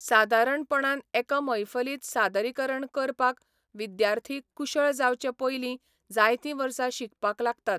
सादारणपणान एका मैफलींत सादरीकरण करपाक विद्यार्थी कुशळ जावचे पयलीं जायतीं वर्सां शिकपाक लागतात.